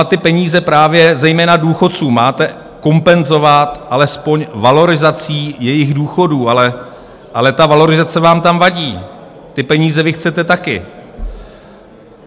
A ty peníze právě, zejména důchodcům, máte kompenzovat alespoň valorizací jejich důchodů, ale ta valorizace vám tam vadí, ty peníze vy chcete taky.